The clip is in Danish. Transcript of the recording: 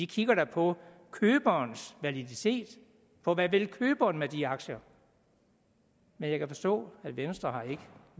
kigger da på køberens validitet på hvad køberen vil med de aktier men jeg kan forstå at venstre ikke